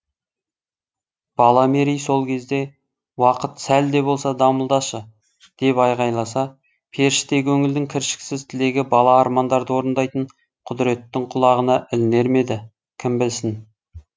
бала мерей сол кезде уақыт сәл де болса дамылдашы деп айғайласа періште көңілдің кіршіксіз тілегі бала армандарды орындайтын құдіреттің құлағына ілінер ме еді кім білсін